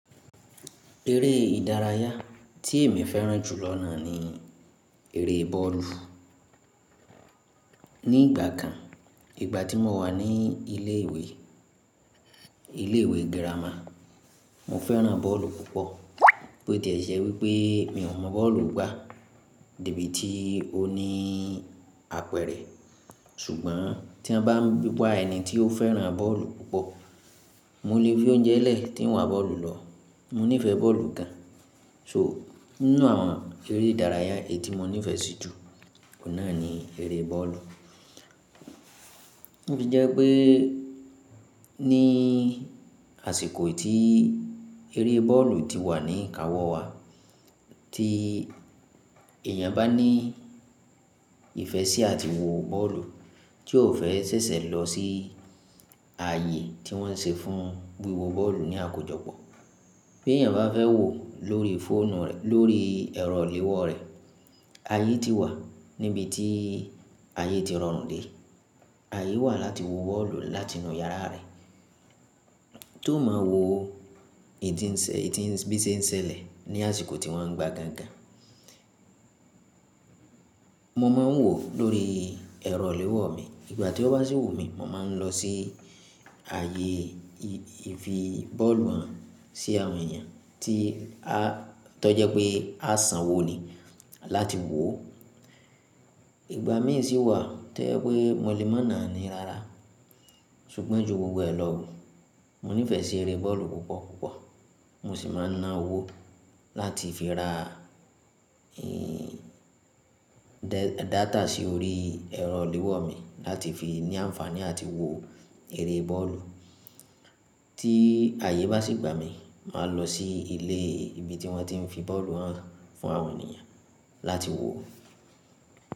Eré ìdárayá tí èmi fẹ́ràn jù lọ́nà ni eré bọ́ọ̀lù. Ní ìgbà kan, ìgbà tí mo wà ní ilé ìwé, ilé ìwé gírámà, mo fẹ́ràn bọ́ọ̀lù púpọ̀. Bí ó ti ṣẹ́ wípé mi ò mọ̀ bọ́ọ̀lù gbá, débi tí ó ní àpẹẹrẹ. Ṣùgbọ́n tí wọ́n bá wá ẹni tí ó fẹ́ràn bọ́ọ̀lù púpọ̀, mo lè fi oúnjẹ lẹ̀ tí ń wa bọ́ọ̀lù lọ. Mo nífẹ̀ẹ́ bọ́ọ̀lù gan. So nínú àwọn eré ìdárayá etí mo nífẹ̀ẹ́ sí jù, òun náà ni eré bọ́ọ̀lù. Tó fi jẹ́ pé ní àsìkò tí eré bọ́ọ̀lù ti wà ní ìkáwọ́ wa, tí èèyàn bá ní ìfẹ́ sí àti wo bọ́ọ̀lù, tí ó ò fẹ́ sẹ́sẹ̀ lọ sí ààyè tí wọ́n ṣe fún wíwo bọ́ọ̀lù ní àkójọpọ̀. Bí èèyàn bá fẹ́ wò ó lórí fóònù rẹ̀, lórí ẹ̀rọ i léwọ́ rẹ̀, àyè ti wà níbi tí ààyé ti rọrùn dé. Ààyè wà láti wo bọ́ọ̀lù látinú yàrá rẹ̀. Tó máa wò ì tín nṣe, bí tin ń ṣẹlẹ̀ ní àsìkò tí wọ́n ń gbá gangan. Mo máa ń wò lórí ẹ̀rọ léwọ́ mi. Ìgbà tí ó bá ṣì wù mí, mo máa ń lọ sí ààyè fi bọ́ọ̀lù hàn sí àwọn èèyàn tí a, tó jẹ́ pé a san wò ni láti wò ó. Ìgbà mí ì sì wà tó jẹ́ pé mo lè máà naani rárá:. Ṣùgbọ́n ju gbogbo ẹ lọ, mo nífẹ̀ẹ́ sí eré bọ́ọ̀lù púpọ̀ púpọ̀. Mo sì máa ń ná owó láti fi rà, dáàtà sí orí ẹ̀rọ iléwọ́ mi láti fi ní àǹfààní láti wo eré bọ́ọ̀lù. Tí ààyè bá sì gbà mí, màá lọ sí ilé ibi tí wọ́n ti ń fi bọ́ọ̀lù hàn fún àwọn ènìyàn láti wò ó.